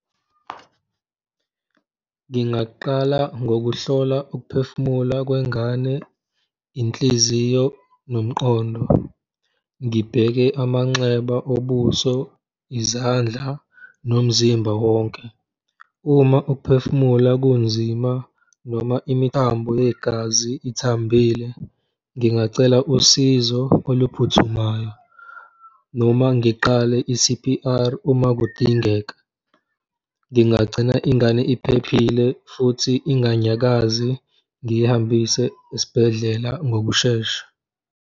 Ngingaqala ngokuhlola ukuphefumula kwengane, inhliziyo nomqondo, ngibheke amanxeba obuso, izandla nomzimba wonke. Uma ukuphefumula kunzima noma imithambo yegazi ithambile, ngingacela usizo oluphuthumayo noma ngiqale i-C_P_R uma kudingeka, ngingagcina ingane iphephile futhi inganyakazi ngiyihambise esibhedlela ngokushesha.